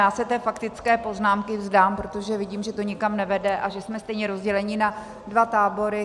Já se té faktické poznámky vzdám, protože vidím, že to nikam nevede a že jsme stejně rozděleni na dva tábory.